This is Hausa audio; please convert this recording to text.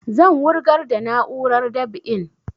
Zan wurgar da na'urar dab'in